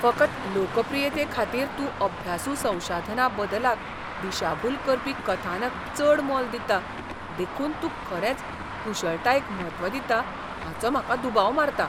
फकत लोकप्रियतेखातीर तूं अभ्यासू संशाधना बदलाक दिशाभूल करपी कथनाक चड मोल दिता देखून तूं खरेच कुशळटायेक म्हत्व दिता हाचो म्हाका दुबाव मारता.